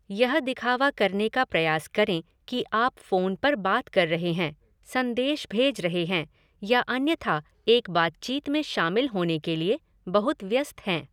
यह दिखावा करने का प्रयास करें कि आप फ़ोन पर बात कर रहे हैं, संदेश भेज रहे हैं या अन्यथा एक बातचीत में शामिल होने के लिए बहुत व्यस्त हैं।